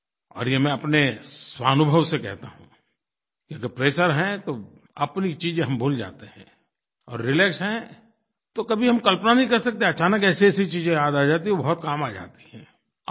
और ये मैं अपने स्वानुभव से कहता हूँ कि अगर प्रेशर है तो अपनी चीज़ें हम भूल जाते हैं और रिलैक्स हैं तो कभी हम कल्पना नहीं कर सकते अचानक ऐसीऐसी चीज़ें याद आ जाती हैं वो बहुत काम आ जाती हैं